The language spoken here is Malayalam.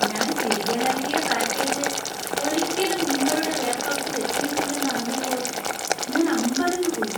ഞാൻ തിരികെ നൽകിയ പാക്കേജ് ഒരിക്കലും നിങ്ങളുടെ വെയർഹൗസിൽ എത്തിയിട്ടില്ലെന്ന് അറിഞ്ഞപ്പോൾ ഞാൻ അമ്പരന്നുപോയി.